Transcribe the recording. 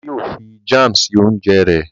Bàbá yíò fí Jam sí oúnjẹ rè.